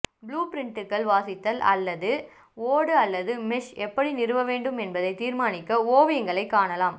புளூபிரிட்டுகள் வாசித்தல் அல்லது ஓடு அல்லது மெஷ் எப்படி நிறுவ வேண்டும் என்பதை தீர்மானிக்க ஓவியங்களைக் காணலாம்